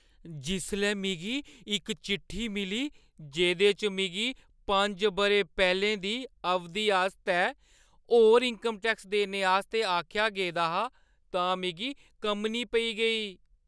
जिसलै मिगी इक चिट्ठी मिली जेह्दे च मिगी पंज बʼरे पैह्‌लें दी अवधि आस्तै होर इन्कम टैक्स देने आस्तै आखेआ गेदा हा, तां मिगी कम्मनी पेई गेई।